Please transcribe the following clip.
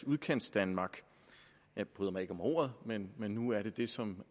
udkantsdanmark jeg bryder mig ikke om ordet men men nu er det det som